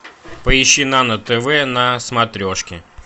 поищи нано тв на смотрешке